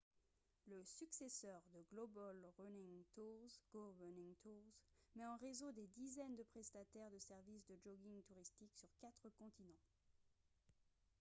le successeur de global running tours go running tours met en réseau des dizaines de prestataires de services de jogging touristique sur quatre continents